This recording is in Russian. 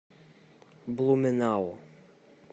блуменау